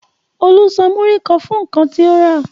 Olú san múrí kan fún nǹkan tó rà.